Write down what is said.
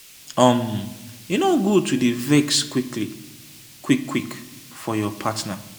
um e no good to dey vex quick-quick for your partner.